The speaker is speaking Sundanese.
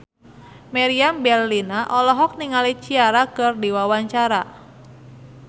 Meriam Bellina olohok ningali Ciara keur diwawancara